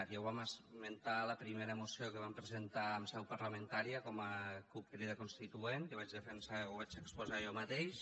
ja ho vam esmentar a la primera moció que vam presentar en seu parlamentària com a cup crida constituent que ho vaig defensar ho vaig exposar jo mateix